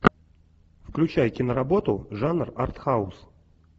включай киноработу жанр артхаус